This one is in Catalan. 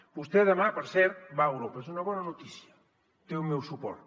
vostè demà per cert va a europa és una bona notícia té el meu suport